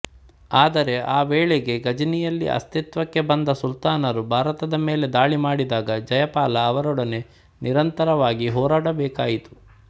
ಆದರೆ ಆ ವೇಳೆಗೆ ಘಜ್ನಿಯಲ್ಲಿ ಅಸ್ತಿತ್ವಕ್ಕೆ ಬಂದ ಸುಲ್ತಾನರು ಭಾರತದ ಮೇಲೆ ದಾಳಿ ಮಾಡಿದಾಗ ಜಯಪಾಲ ಅವರೊಡನ ನಿರಂತರವಾಗಿ ಹೋರಾಡಬೇಕಾಯಿತು